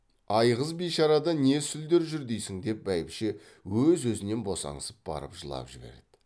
айғыз бишарада не сүлдер жүр дейсің деп бәйбіше өз өзінен босаңсып барып жылап жіберді